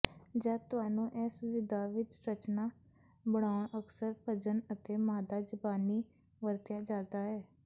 ਜਦ ਤੁਹਾਨੂੰ ਇਸ ਵਿਧਾ ਵਿਚ ਰਚਨਾ ਬਣਾਉਣ ਅਕਸਰ ਭਜਨ ਅਤੇ ਮਾਦਾ ਜ਼ਬਾਨੀ ਵਰਤਿਆ ਜਾਦਾ ਹੈ